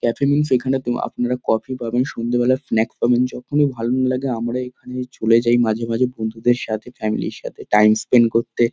Cafe means এখানে তো আপনারা কফি পাবেন সন্ধ্যেবেলার স্ন্যাকস পাবেন। যখনই ভালো লাগে না আমরা এখানে চলে যাই মাঝে মাঝে বন্ধুদের সাথে ফ্যামিলি -র সাথে টাইম স্পেন্ট করতে।